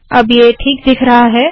अब ये ठीक दिख रहा है